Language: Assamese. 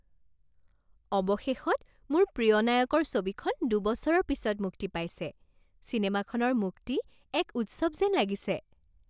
অৱশেষত, মোৰ প্ৰিয় নায়কৰ ছবিখন দুবছৰৰ পিছত মুক্তি পাইছে, চিনেমাখনৰ মুক্তি এক উৎসৱ যেন লাগিছে।